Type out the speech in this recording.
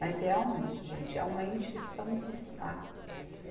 Mas realmente, gente, é uma encheção de saco.